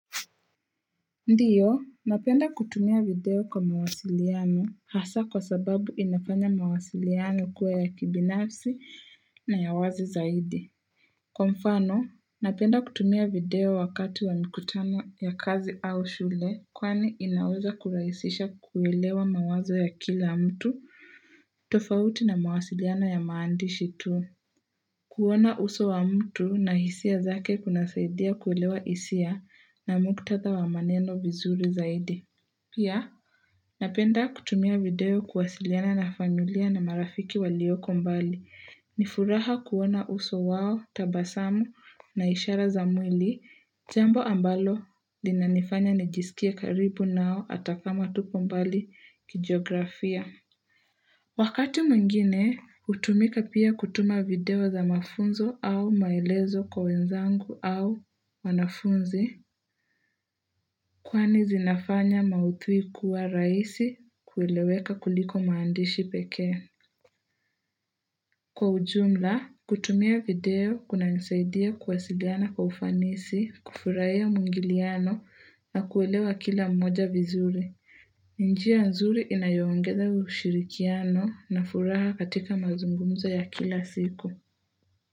Ndiyo, napenda kutumia video kwa mawasiliano hasa kwa sababu inafanya mawasiliano ikuwe ya kibinafsi na ya wazi zaidi. Kwa mfano, napenda kutumia video wakati wa mkutano ya kazi au shule kwani inauza kuraisisha kuwelewa mawazo ya kila mtu tofauti na mawasiliano ya maandishi tu. Kuona uso wa mtu na hisia zake kuna saidia kuwelewa hisia na mkutadha wa maneno vizuri zaidi. Pia, napenda kutumia video kuwasiliana na familia na marafiki walioko mbali. Nifuraha kuona uso wao, tabasamu na ishara za mwili. Zembo ambalo lina nifanya nijisikia karibu nao atakama tuko mbali kijiografia. Wakati mungine, utumika pia kutuma video za mafunzo au maelezo kwa wenzangu au wanafunzi, kwani zinafanya mauthui kuwa raisi kuweleweka kuliko maandishi peke. Kwa ujumla, kutumia video kuna nisaidia kuwasidiana kwa ufanisi, kufurahia mungiliano na kuwelewa kila mmoja vizuri. Njia nzuri inayongeza ushirikiano na furaha katika mazungumza ya kila siku.